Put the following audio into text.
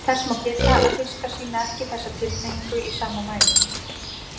Þess má geta að fiskar sýna ekki þessa tilhneigingu í sama mæli.